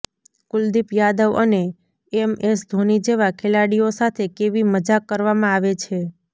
કુલદીપ યાદવ અને M S Dhoni જેવા ખેલાડીઓ સાથે કેવી મજાક કરવામાં આવે છે